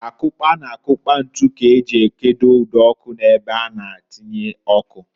Akụkpa na akukpa ntu k'eji ekedo ụd'ọkụ n'ebe a na-atinye ọkụ.